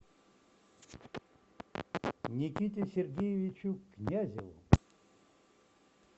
никите сергеевичу князеву